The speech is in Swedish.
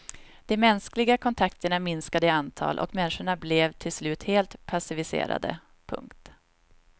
De mänskliga kontakterna minskade i antal och människorna blev till slut helt passiviserade. punkt